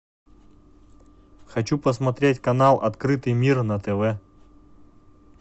хочу посмотреть канал открытый мир на тв